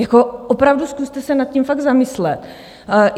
Jako opravdu se zkuste nad tím fakt zamyslet.